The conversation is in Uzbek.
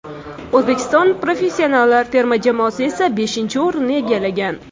O‘zbekiston professionallar terma jamoasi esa beshinchi o‘rinnni egallagan.